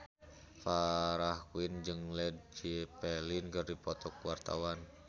Farah Quinn jeung Led Zeppelin keur dipoto ku wartawan